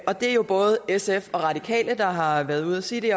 det er jo både sf og radikale der har været ude at sige det